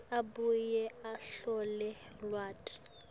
abuye ahlole lwati